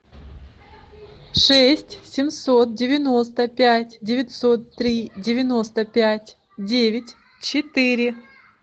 шесть семьсот девяносто пять девятьсот три девяносто пять девять четыре